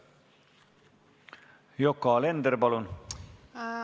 Yoko Alender, palun!